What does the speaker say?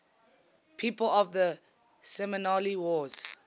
people of the seminole wars